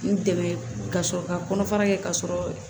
N dɛmɛ ka sɔrɔ ka kɔnɔfara kɛ k'a sɔrɔ